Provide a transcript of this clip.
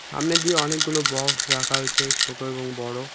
সামনে দিয়ে অনেকগুলো বক্স রাখা হয়েছে ছোট এবং বড়।